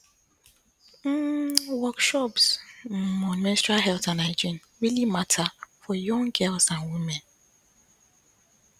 um workshops um on menstrual health and hygiene really matter for young girls and women